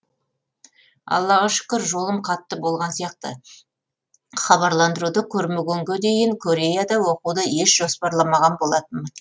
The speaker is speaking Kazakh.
аллаға шүкір жолым қатты болған сияқты хабарландыруды көрмегенге дейін кореяда оқуды еш жоспарламаған болатынмын